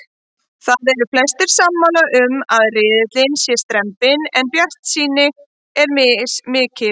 Það eru flestir sammála um að riðillinn sé strembinn en bjartsýnin er mismikil.